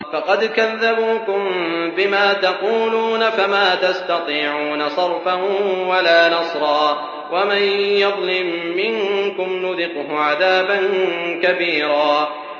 فَقَدْ كَذَّبُوكُم بِمَا تَقُولُونَ فَمَا تَسْتَطِيعُونَ صَرْفًا وَلَا نَصْرًا ۚ وَمَن يَظْلِم مِّنكُمْ نُذِقْهُ عَذَابًا كَبِيرًا